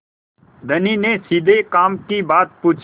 धनी ने सीधे काम की बात पूछी